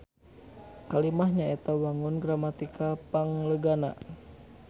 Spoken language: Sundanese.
Kalimah nyaeta wangun gramatikal panglegana.